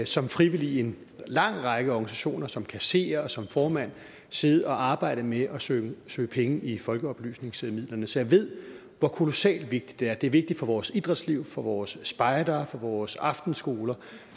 som frivillig i en lang række organisationer som kasserer og som formand siddet og arbejdet med at søge søge penge i folkeoplysningsmidlerne så jeg ved hvor kolossalt vigtigt det er det er vigtigt for vores idrætsliv for vores spejdere for vores aftenskoler